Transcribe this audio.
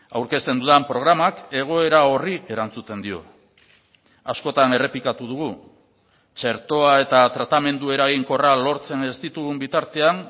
aurkezten dudan programak egoera horri erantzuten dio askotan errepikatu dugu txertoa eta tratamendu eraginkorra lortzen ez ditugun bitartean